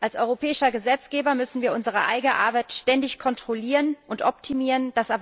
Als europäischer Gesetzgeber müssen wir unsere eigene Arbeit ständig kontrollieren und optimieren.